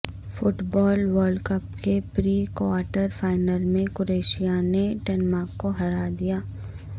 fit بال world cup کے pre quarter final میں Croatia نے ڈنمارک کو ہرا دیا